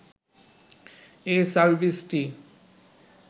এ সার্ভিসটি